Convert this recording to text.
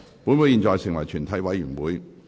本會現在成為全體委員會。